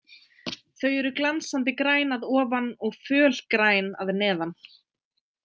Þau eru glansandi græn að ofan og fölgræn að neðan.